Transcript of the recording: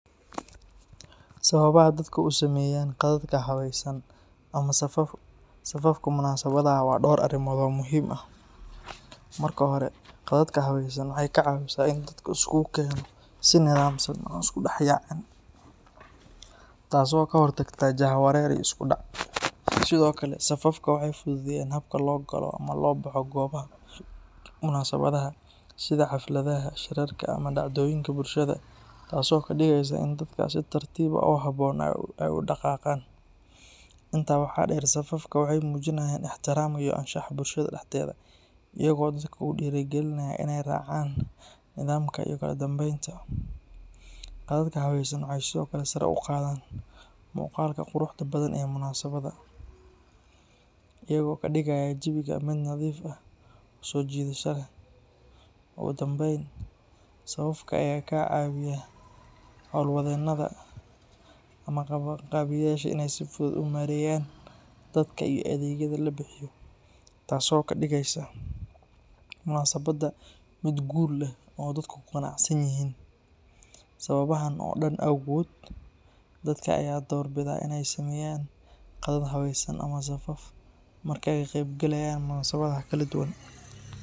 Sababaha dadka u sameyaan qadadka habaysan ama safafka munaasabadaha waa dhowr arrimood oo muhiim ah. Marka hore, qadadka habaysan waxay ka caawisaa in dadka la isugu keeno si nidaamsan oo aan isku dhex yaacin, taasoo ka hortagta jahwareer iyo isku dhac. Sidoo kale, safafka waxay fududeeyaan habka loo galo ama loo baxo goobaha munaasabadaha, sida xafladaha, shirarka, ama dhacdooyinka bulshada, taasoo ka dhigaysa in dadka si tartiib ah oo habboon ay u dhaqaaqaan. Intaa waxaa dheer, safafka waxay muujinayaan ixtiraamka iyo anshaxa bulshada dhexdeeda, iyagoo dadka ku dhiirrigelinaya inay raacaan nidaamka iyo kala dambeynta. Qadadka habaysan waxay sidoo kale sare u qaadaan muuqaalka quruxda badan ee munaasabadda, iyagoo ka dhigaya jawiga mid nadiif ah oo soo jiidasho leh. Ugu dambeyn, safafka ayaa ka caawiya hawlwadeennada ama qabanqaabiyeyaasha inay si fudud u maareeyaan dadka iyo adeegyada la bixiyo, taasoo ka dhigaysa munaasabadda mid guul leh oo dadku ku qanacsan yihiin. Sababahan oo dhan awgood, dadka ayaa door bida in ay sameeyaan qadad habaysan ama safaf marka ay ka qaybgalayaan munaasabadaha kala duwan.